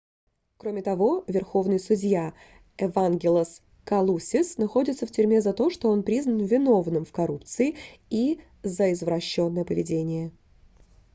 кроме того верховный судья эвангелос калусис находится в тюрьме за то что он признан виновным в коррупции и за извращенное поведение